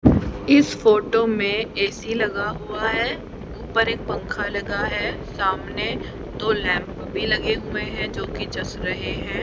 इस फोटो में ए_सी लगा हुआ है ऊपर एक पंखा लगा है सामने दो लैंप भी लगे हुए हैं जोकि जच रहे हैं।